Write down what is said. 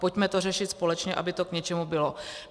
Pojďme to řešit společně, aby to k něčemu bylo.